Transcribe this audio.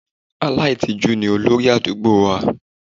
Aláìtìjú ni olórí àdúgbò wa.